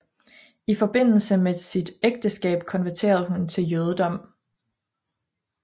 I forbindelse med sit ægteskab konverterede hun til jødedom